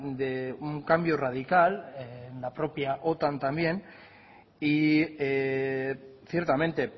de un cambio radical en la propia otan también y ciertamente